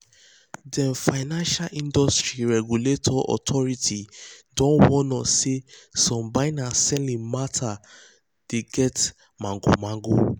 dem financial industry regulatory authority don warn us say some buying and selling matter dey get magomago